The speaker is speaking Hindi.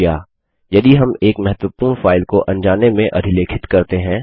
अब क्या यदि हम एक महत्वपूर्ण फाइल को अनजाने में अधिलेखित करते हैं